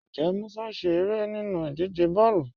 Ǹjẹ́ Mùsà ń ṣẹ̀ ẹ̀rẹ́ nínú ìdíjẹ̀ bọ̀ọ̀lu?